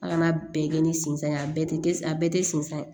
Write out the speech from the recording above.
A kana bɛɛ kɛ ni sinzan ye a bɛɛ tɛ a bɛɛ tɛ sin san